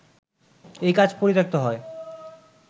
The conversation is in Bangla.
এই কাজ পরিত্যক্ত হয়